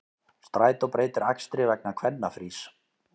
Strætó breytir akstri vegna kvennafrís